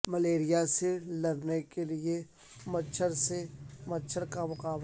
malaria سے لڑنے کے لیے مچھر سے مچھر کا مقابلہ